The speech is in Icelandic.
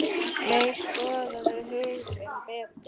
Nei, skoðaðu hug þinn betur.